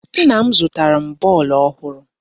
Nna m zụtara m bọọlụ ọhụrụ